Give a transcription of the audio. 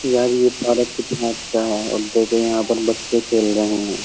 यार ये पारक कितना अच्छा है और देखो यहां पर बच्चे खेल रहे हैं।